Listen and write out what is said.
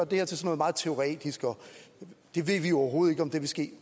det her til noget meget teoretisk og ved vi overhovedet om det vil ske